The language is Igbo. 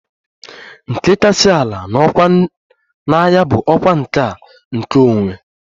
Nke kasị ala n'ọkwá na agha bụ ọkwa nke a ""nkeonwe"""